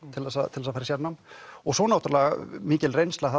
til þess að fara í sérnám og svo náttúrulega mikil reynsla